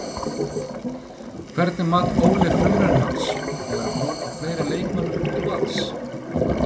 Hvernig mat Óli frumraun hans og er von á fleiri leikmönnum til Vals?